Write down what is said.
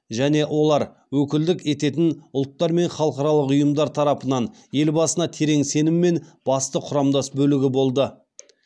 және олар өкілдік ететін ұлттар мен халықаралық ұйымдар тарапынан елбасына терең сеніммен басты құрамдас бөлігі болды